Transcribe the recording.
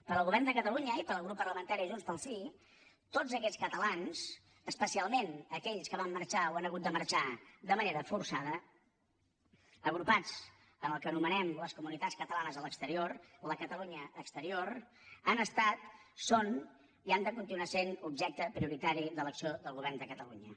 per al govern de catalunya i per al grup parlamentari de junts pel sí tots aquests catalans especialment aquells que van marxar o han hagut de marxar de manera forçada agrupats en el que anomenem les comunitats catalanes a l’exterior la catalunya exterior han estat són i han de continuar sent objecte prioritari de l’acció del govern de catalunya